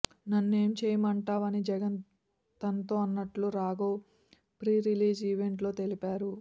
నన్నేం చేయమంటావ్ అని జగన్ తనతో అన్నట్లు రాఘవ్ ప్రీరిలీజ్ ఈవెంట్ లో తెలిపారు